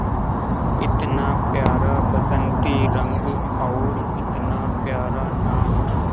इतना प्यारा बसंती रंग और इतना प्यारा नाम